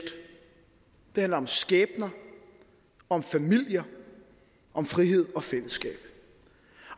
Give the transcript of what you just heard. det handler om skæbner om familier om frihed og fællesskab